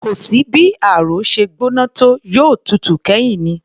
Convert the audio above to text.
Kò sí bí ààrò ṣe gbóná tó, yóò tutù kẹ́yìn ni